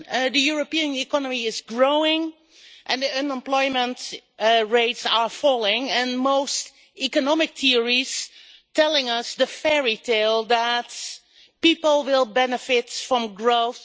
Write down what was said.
The European economy is growing, unemployment rates are falling and most economic theorists are telling us the fairytale that people will benefit from growth.